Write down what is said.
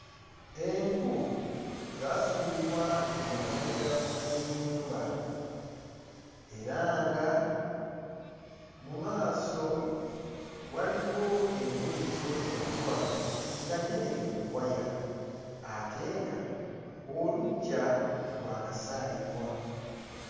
Enku zaasuulibwa emabega w'ennyumba era nga mu maaso waliwo engoye ezoozeddwa nga nnyanike ku waya ate ng'oluggya lwakasaayibwa.